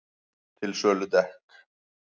Til sölu dekk